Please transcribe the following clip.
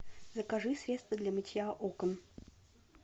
закажи средство для мытья окон